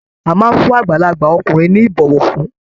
A máa n fún àgbàlagbà ọkùnrin ní ibọwọfún.